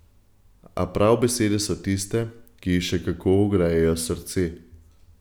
A prav besede so tiste, ki ji še kako ogrejejo srce.